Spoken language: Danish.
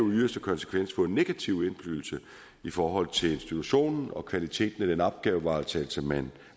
yderste konsekvens få en negativ indflydelse i forhold til institutionen og kvaliteten af den opgavevaretagelse man